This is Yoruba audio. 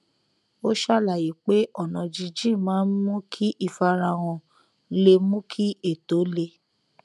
ó ṣàlàyé pé ọnà jínjìn maá n mú kí ìfarahàn le mú kí ètò le